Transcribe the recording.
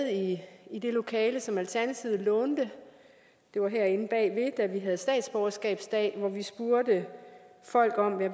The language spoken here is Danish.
i det lokale som alternativet lånte det var herinde bagved da vi havde statsborgerskabsdag hvor vi spurgte folk